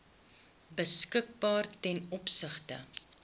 beskikbaar ten opsigte